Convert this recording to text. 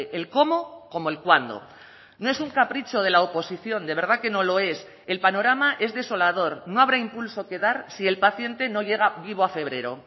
el cómo como el cuándo no es un capricho de la oposición de verdad que no lo es el panorama es desolador no habrá impulso que dar si el paciente no llega vivo a febrero